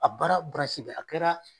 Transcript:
A baara bɛ ye a kɛra